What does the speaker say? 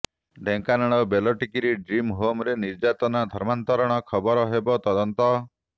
Dhenkanal Beltikiri dream ହୋମରେ ନିର୍ଯାତନା ଧର୍ମାନ୍ତରଣ ଖବରର ହେବ ତଦନ୍ତ